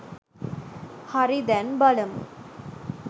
හරි දැන් බලමු